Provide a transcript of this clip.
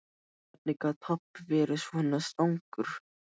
Hvernig gat pabbi verið svona strangur?